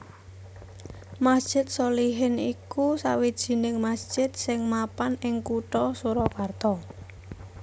Masjid Sholihin iku sawijining masjid sing mapan ing Kutha Surakarta